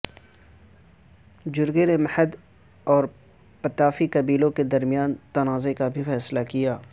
جرگے نےمہر اور پتافی قبیلوں کے درمیان تنازع کا بھی فیصلہ کیا